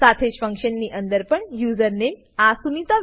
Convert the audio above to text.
સાથેજ function ની અંદર પણ યુઝર નેમ આ સુનિતા